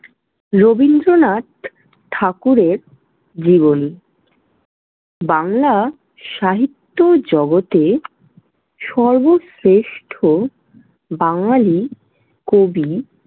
রবীন্দ্রনাথ ঠাকুরের জীবনী। বাংলা সাহিত্য জগতের সর্বশ্রেষ্ঠ বাঙালি কবি।